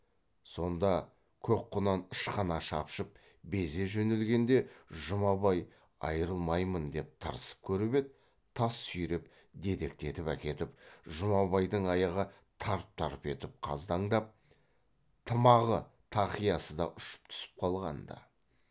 сонда көк құнан ышқына шапшып безе жөнелгенде жұмабай айырылмаймын деп тырысып көріп еді тас сүйреп дедектетіп әкетіп жұмабайдың аяғы тарп тарп етіп қаздаңдап тымағы тақиясы да ұшып түсіп қалған ды